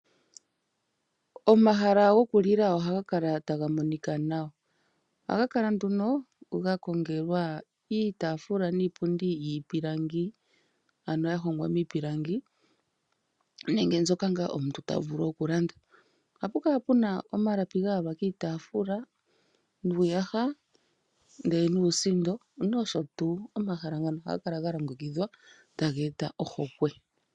Omahala go ku lila oha ga kala ta ga monika nawa. Oha ga kala nduno ga kongelwa iitaafula niipundi yiipilangi, ano ya hongwa miipilangi, nenge mbyoka ngaa omuntu ta vulu oku landa. Oha pu kala puna omalapi ga yalwa kiitafula, nuuyaga nuusindo posho tuu. Omahala ngano oha ga kala ta ga eta ohokwe.